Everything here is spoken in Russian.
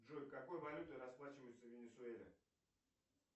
джой какой валютой расплачиваются в венесуэле